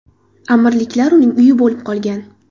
Amirliklar uning uyi bo‘lib qolgan.